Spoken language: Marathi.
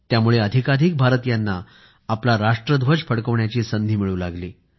त्यामुळे अधिकाधिक भारतीयांना आपला राष्ट्रध्वज फडकवण्याची संधी मिळू लागली